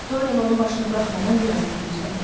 Doryan onun başını buraxmadan bir az da gözlədi.